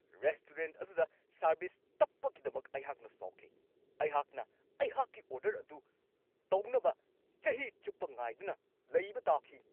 Restaurant ꯑꯗꯨꯗ service ꯇꯞꯄꯒꯤꯗꯃꯛ ꯑꯩꯍꯥꯛꯅ ꯁꯥꯎꯈꯤ ꯫ ꯑꯩꯍꯥꯛꯅ ꯑꯩꯍꯥꯛꯀꯤ ꯑꯣꯔꯗꯔ ꯑꯗꯨ ꯇꯧꯅꯕ ꯆꯍꯤ ꯆꯨꯞꯄ ꯉꯥꯏꯗꯨꯅ ꯂꯩꯕ ꯇꯥꯈꯤ !